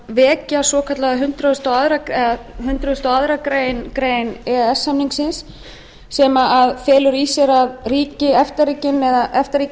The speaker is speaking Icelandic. vekja hundrað og aðra grein e e s samningsins sem felur í sér að efta ríkin